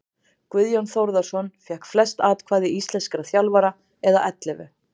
Guðjón Þórðarson fékk flest atkvæði íslenskra þjálfara eða ellefu.